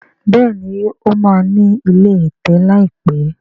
béèni o ma ní ilé ẹ̀tẹ̀ láìpé.